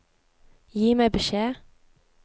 Gi meg beskjed